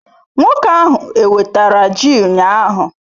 Nwoke ahu wetara ji ụnyahụ?